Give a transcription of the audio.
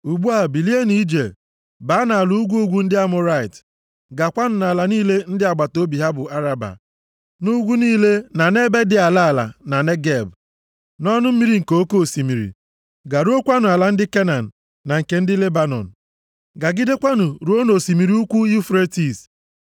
Ugbu a bilienụ ije, baa nʼala ugwu ugwu ndị Amọrait. Gaakwanụ nʼala niile ndị agbataobi ha bụ Araba, nʼugwu niile na nʼebe dị ala ala na Negeb, nʼọnụ mmiri nke oke osimiri, garuokwanụ ala ndị Kenan na nke ndị Lebanọn, gagidekwanụ ruo nʼosimiri ukwu Yufretis.